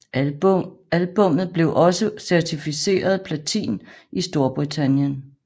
Albummet blev også certificeret platin i Storbritannien